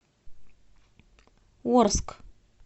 орск